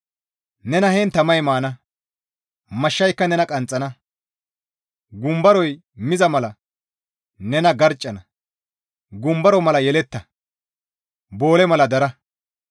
Nena heen tamay maana; Mashshayka nena qanxxana; gumbaroy miza mala nena garccana; gumbaro mala yeletta; boole mala dara.